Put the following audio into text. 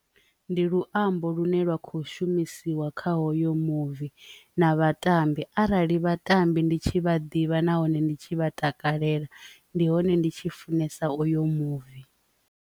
Ndi luambo lune lwa kho shumisiwa kha hoyo muvi na vhatambi arali vhatambi ndi tshi vha ḓivha na hone ndi tshi vha takalela ndi hone ndi tshi funesa oyo movie.